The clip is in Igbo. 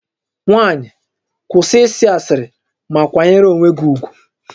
Nwaanyị, kwụsị ịsị asịrị ma kwanyere onwe gị ugwu!